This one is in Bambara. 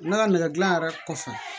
Ne ka nɛgɛdilan yɛrɛ kɔfɛ